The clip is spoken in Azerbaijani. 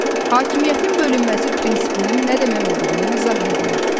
Hakimiyyətin bölünməsi prinsipinin nə demək olduğunu izah edin.